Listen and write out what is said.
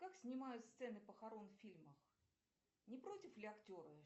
как снимают сцены похорон в фильмах не против ли актеры